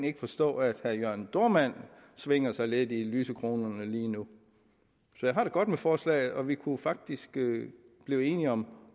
ikke forstå at herre jørn dohrmann svinger sig lidt i lysekronerne lige nu jeg har det godt med forslaget og vi kunne faktisk blive blive enige om